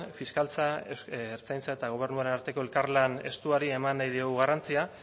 fiskaltza ertzaintza eta gobernuaren arteko elkarlan estuari eman nahi diogu garrantzia